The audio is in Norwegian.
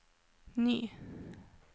ny